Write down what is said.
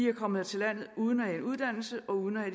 er kommet til landet uden at have uddannelse og uden at